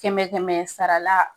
Kɛmɛ kɛmɛ sara la.